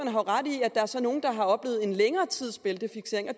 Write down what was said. der så er nogle der har oplevet en længere tids bæltefiksering og